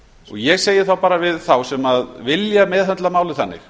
ég segi þá bara við þá sem vilja meðhöndla málið þannig